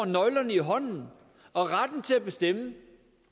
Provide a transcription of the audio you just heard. nøglerne i hånden og retten til at bestemme